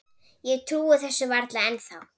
Ég trúi þessu varla ennþá.